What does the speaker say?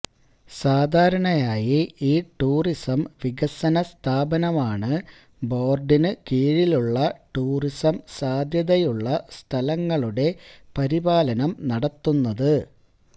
സാധാരണയായി ഈ ടൂറിസം വികസന സ്ഥാപനമാണ് ബോര്ഡിനു കീഴിലുള്ള ടൂറിസം സാദ്ധ്യതയുള്ള സ്ഥലങ്ങളുടെ പരിപാലനം നടത്തുന്നത്